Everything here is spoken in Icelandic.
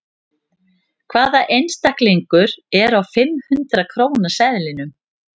Hvaða einstaklingur er á fimm hundrað króna seðlinum?